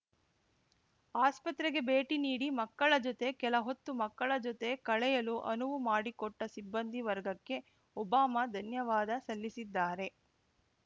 ಆಸ್ಪತ್ರೆಗೆ ಭೇಟಿ ನೀಡಿ ಮಕ್ಕಳ ಜೊತೆ ಕೆಲಹೊತ್ತು ಮಕ್ಕಳ ಜೊತೆ ಕಳೆಯಲು ಅನುವು ಮಾಡಿಕೊಟ್ಟಸಿಬ್ಬಂದಿ ವರ್ಗಕ್ಕೆ ಒಬಾಮ ಧನ್ಯವಾದ ಸಲ್ಲಿಸಿದ್ದಾರೆ